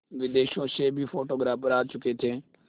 विदेशों से भी फोटोग्राफर आ चुके थे